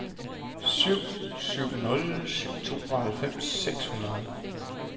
syv syv nul syv tooghalvfems seks hundrede